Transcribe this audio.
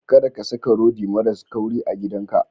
Kada ka saka rodi maras kauri a gidanka.